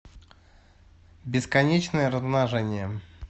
бесконечное размножение